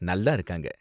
நல்லா இருக்காங்க.